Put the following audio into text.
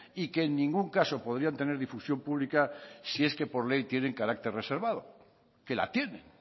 y que en ningún caso podrían tener difusión pública si es que por ley tienen carácter reservado que la tienen